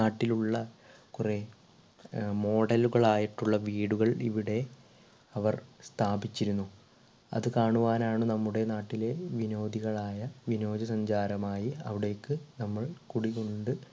നാട്ടിലുള്ള കൊറെ ഏർ model ലുകളായിട്ടുള്ള വീടുകൾ ഇവിടെ അവർ സ്ഥാപിച്ചിരുന്നു. അത് കാണുവാനാണ് നമ്മുടെ നാട്ടിലെ വിനോദികളായ വിനോദസഞ്ചാരമായി അവിടേക്ക് നമ്മൾ കുടികൊണ്ട്